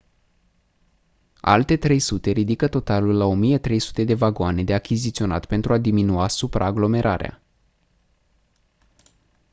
alte 300 ridică totalul la 1300 de vagoane de achiziționat pentru a diminua supraaglomerarea